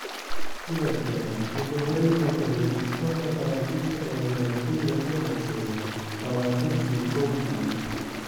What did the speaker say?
Sidoo kale, wuxuu horay u matalay kooxda Faransiiska ee ciyaartoyda ka hooseeya lawatan iyo kow sano.